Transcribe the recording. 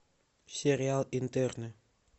сериал интерны